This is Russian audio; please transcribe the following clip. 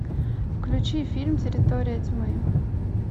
включи фильм территория тьмы